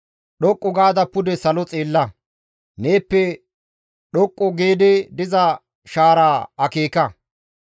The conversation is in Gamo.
«Dhoqqu gaada pude salo xeella; neeppe dhoqqu giidi diza shaara akeeka.